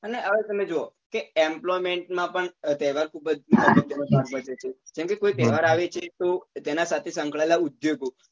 અને હવે તમે જોવો કે employment માં પણ તહેવાર ખુબ જ જેમ કે કોઈ તહેવાર આવે છે તો તેના સાથે સંકળાયેલા ઉદ્યોગો જેમ કે